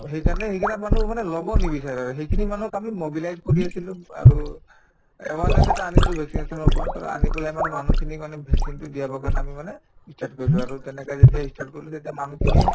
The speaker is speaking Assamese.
to সেইকাৰণে সেইকেইটা মানুহ মানে লব নিবিচাৰে সেইখিনি মানুহক আমি mobilize কৰি আছিলো আৰু awareness এটা আনি vaccination ৰ ওপৰত আৰু আনি পেলাই মানে মানুহখিনিক মানে vaccine তো দিয়া আমি মানে ই start কৰিলো আৰু তেনেকে যেতিয়া ই start কৰিলো তেতিয়া মানুহখিনিয়ে